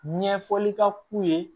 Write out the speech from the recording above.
Ɲɛfɔli ka k'u ye